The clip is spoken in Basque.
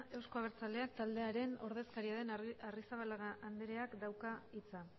euzko abertzaleak taldearen ordezkaria den arrizabalaga andreak dauka hitza